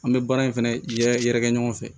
An bɛ baara in fɛnɛ yɛrɛ kɛ ɲɔgɔn fɛ